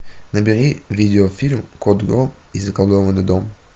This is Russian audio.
набери видеофильм кот гром и заколдованный дом